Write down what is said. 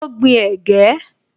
Ó gbin ẹ̀gẹ́